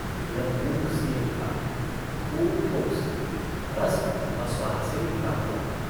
यह मूक स्नेह था खूब ठोस रस और स्वाद से भरा हुआ।